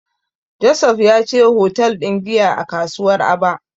Joseph ya je hotel ɗin giya a kasuwar Aba.